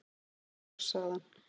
"""Bjór, sagði hann."""